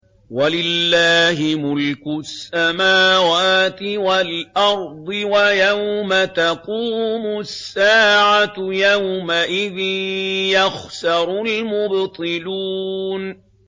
وَلِلَّهِ مُلْكُ السَّمَاوَاتِ وَالْأَرْضِ ۚ وَيَوْمَ تَقُومُ السَّاعَةُ يَوْمَئِذٍ يَخْسَرُ الْمُبْطِلُونَ